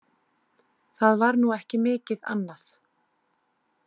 Það var nú ekki mikið annað.